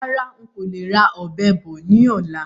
Rárá, ń kó le ra Ọ̀bẹ bọ̀ ni ọ̀la.